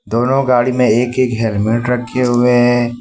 दोनों गाड़ी में एक एक हेलमेट रखे हुए हैं।